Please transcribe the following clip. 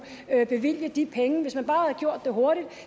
bevilge de penge hvis man bare havde gjort det hurtigt